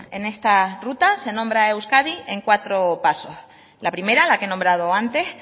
en esta ruta nombra a euskadi en cuatro pasos la primera la que he nombrado antes